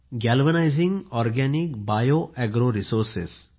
galvanising organic bio agro resources